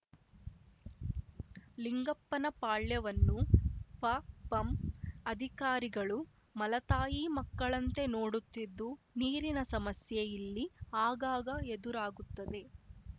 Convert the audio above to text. ಲಿಂಗಪ್ಪನಪಾಳ್ಯವನ್ನು ಪಪಂ ಅಧಿಕಾರಿಗಳು ಮಲತಾಯಿ ಮಕ್ಕಳಂತೆ ನೋಡುತ್ತಿದ್ದು ನೀರಿನ ಸಮಸ್ಯೆ ಇಲ್ಲಿ ಆಗಾಗ ಎದುರಾಗುತ್ತದೆ